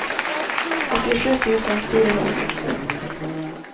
åttiosju tusen fyrahundrasextio